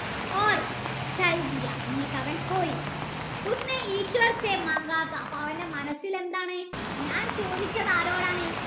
എന്നിട് അവൻ പോയി അപ്പൊ അവൻ്റെ മനസ്സിൽ എന്താണ് ഞാൻ ചോദിച്ചത് ആരോടാണ്